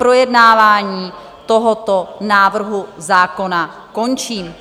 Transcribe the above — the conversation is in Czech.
Projednávání tohoto návrhu zákona končím.